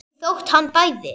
Ekki þótt hann bæði.